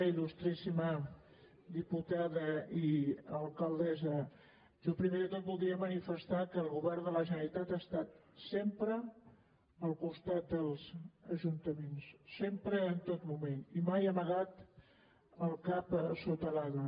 il·lustríssima diputada i alcaldessa jo primer de tot voldria manifestar que el govern de la generalitat ha estat sempre al costat dels ajuntaments sempre en tot moment i mai ha amagat el cap sota l’ala